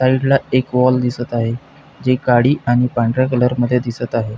साइडला एक वॉल दिसत आहे जी काळी आणि पांढऱ्या कलरमध्ये दिसत आहे.